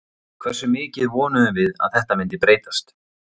Hversu mikið vonuðum við að þetta myndi breytast?